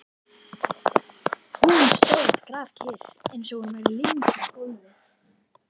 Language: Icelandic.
Hún stóð grafkyrr eins og hún væri límd við gólfið.